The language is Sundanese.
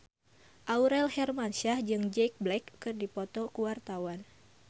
Aurel Hermansyah jeung Jack Black keur dipoto ku wartawan